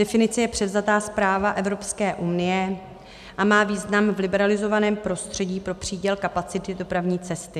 Definice je převzata z práva Evropské unie a má význam v liberalizovaném prostředí pro příděl kapacity dopravní cesty.